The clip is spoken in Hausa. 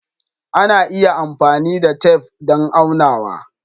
Ana iya amfani da tef don aunawa.